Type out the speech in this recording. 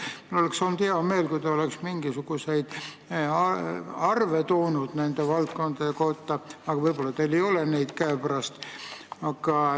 Mul oleks olnud hea meel, kui te oleks toonud mingisuguseid arve nende valdkondade kohta, aga võib-olla teil ei ole neid käepärast.